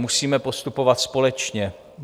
Musíme postupovat společně.